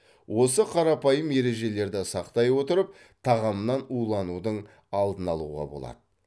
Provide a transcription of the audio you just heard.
осы қарапайым ережелерді сақтай отырып тағамнан уланудың алдын алуға болады